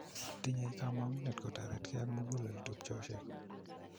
Tinyei kamuget kutoritkei ak mugulel tupchosiek.